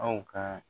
Aw ka